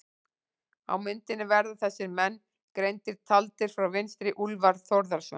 Á myndinni verða þessir menn greindir, taldir frá vinstri: Úlfar Þórðarson